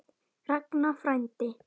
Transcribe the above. Ragnar frændi.